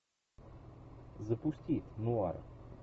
запусти нуар